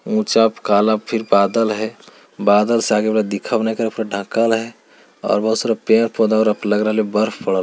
ऊंचा काला फिर बादल है बादल से आगे और बहुत सारे पेड़-पोधे और--